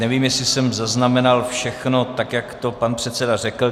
Nevím, jestli jsem zaznamenal všechno tak, jak to pan předseda řekl.